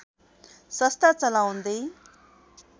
संस्था चलाउँदै